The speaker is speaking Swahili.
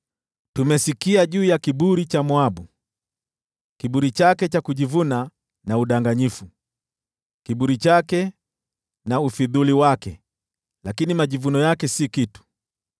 Tumesikia juu ya kiburi cha Moabu: kiburi chake cha kujivuna na udanganyifu, kiburi chake na ufidhuli wake, lakini majivuno yake si kitu.